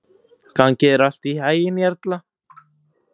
Gangi þér allt í haginn, Jarla.